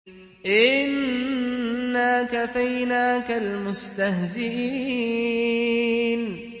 إِنَّا كَفَيْنَاكَ الْمُسْتَهْزِئِينَ